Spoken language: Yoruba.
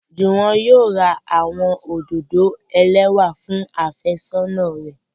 Juwon yóò ra awọn ododo elẹwa fun afesona rẹ